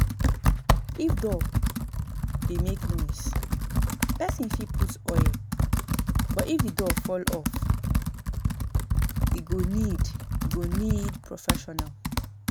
If door dey make noise person fit put oil but if di door fall off e go need e go need professional